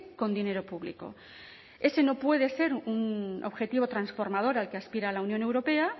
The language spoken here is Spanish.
con dinero público ese no puede ser un objetivo transformador a que aspira la unión europea